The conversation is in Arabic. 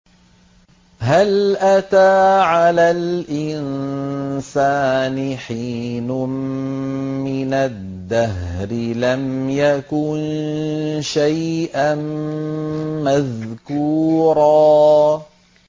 هَلْ أَتَىٰ عَلَى الْإِنسَانِ حِينٌ مِّنَ الدَّهْرِ لَمْ يَكُن شَيْئًا مَّذْكُورًا